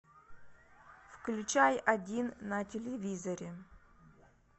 включай один на телевизоре